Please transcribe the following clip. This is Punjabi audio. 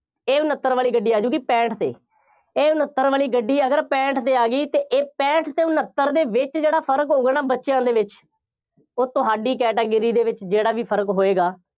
ਇਹ ਉਨੱਤਰ ਵਾਲੀ ਗੱਡੀ ਆ ਜਾਊਗੀ, ਪੈਂਹਠ ਤੇ, ਇਹ ਉਨੱਤਰ ਵਾਲੀ ਗੱਡੀ ਅਗਰ ਪੈਂਹਠ ਤੇ ਆ ਗਈ ਅਤੇ ਇਹ ਪੈਂਹਠ ਅਤੇ ਉਨੱਤਰ ਦੇ ਵਿੱਚ ਜਿਹੜਾ ਫਰਕ ਹੋਊਗਾ ਨਾ ਬੱਚਿਆ ਦੇ ਵਿੱਚ ਉਹ ਤੁਹਾਡੀ category ਦੇ ਵਿੱਚ ਜਿਹੜਾ ਵੀ ਫਰਕ ਹੋਏਗਾ।